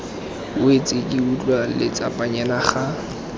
wetse ke utlwa letsapanyana ga